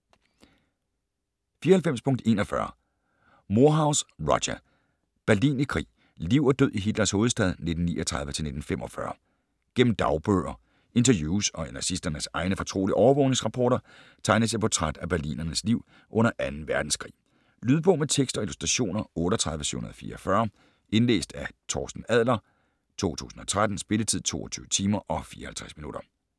94.41 Moorhouse, Roger: Berlin i krig: liv og død i Hitlers hovedstad 1939-1945 Gennem dagbøger, interviews og nazisternes egne fortrolige overvågningsrapporter tegnes et portræt af berlinernes liv under 2. verdenskrig. Lydbog med tekst og illustrationer 38744 Indlæst af Torsten Adler, 2013. Spilletid: 22 timer, 54 minutter.